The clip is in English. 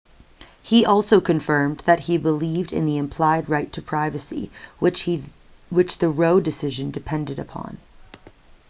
he also confirmed that he believed in the implied right to privacy which the roe decision depended upon